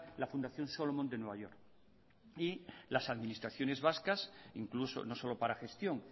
la fundación solomon de nueva york y las administraciones vascas incluso no solo para gestión